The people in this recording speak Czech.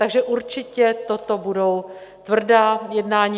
Takže určitě toto budou tvrdá jednání.